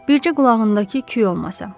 Bircə qulağındakı küy olmasa.